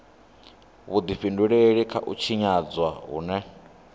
vhudifhinduleli kha u tshinyadzwa hune